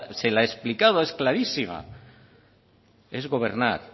se la he explicado es clarísima es gobernar